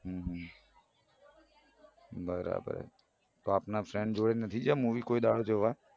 હમ બરાબર તો આપના friend જોડે નથી ગયા મુવી કોઈ દાડો જોવા.